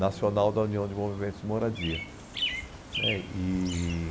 Nacional da União de Movimentos de Moradia. Né, e...